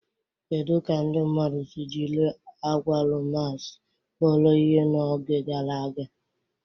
Kedu ka ndị mmadụ si jiri agwalumas kpọrọ ihe n'oge gara aga?